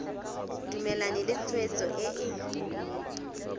dumalane le tshwetso e e